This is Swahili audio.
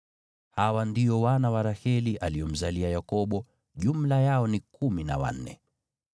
Hawa ndio wana wa Raheli aliomzalia Yakobo; jumla yao ni kumi na wanne.